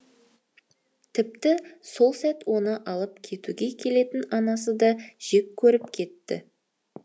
тіпті сол сәт оны алып кетуге келетін анасы да жек көріп кетті